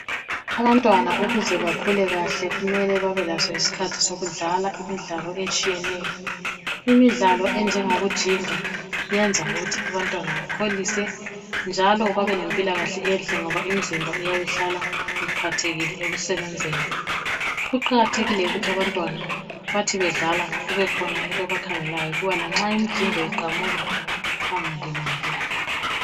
Abantwana ukuze bakhule kahle kumele babe laso isikhathi sokudlala imidlalo etshiyeneyo . Imidlalo enjengo kujinga yenza ukuthi abantwana bakholise njalo babe mpilakahle enhle ngoba imizimba eyabe ihlala iphathekile ekusebenzeni. Kuqakathekile ukuthi abantwana bathi bedlala kube khona umuntu obakhangelayo lanxa imijingo iqamuka bangalimali.